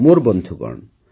ମୋର ବନ୍ଧୁଗଣ